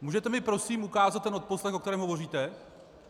Můžete mi prosím ukázat ten odposlech, o kterém hovoříte?